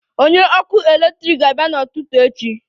Onye ọkụ eletrik ga-abịa n'ụtụtụ echi